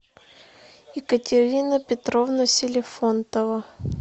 екатерина петровна селифонтова